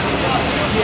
Quraşdırılır.